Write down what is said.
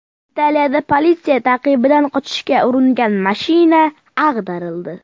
Italiyada politsiya ta’qibidan qochishga uringan mashina ag‘darildi.